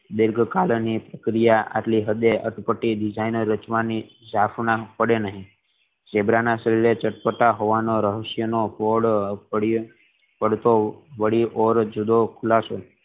પ્રક્રિયા આટલી હદે અટપટી design રચવાની જખના પડે નહિ ઝીબ્રા ના શરીરે ચટપટા હોવાનું રહશય અને જુદો ખુલાસો